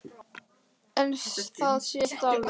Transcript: En það sést alveg.